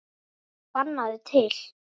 Sannaðu til.